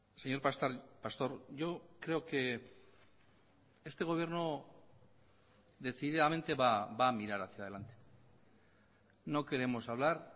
señor pastor yo creo que este gobierno decididamente va a mirar hacia adelante no queremos hablar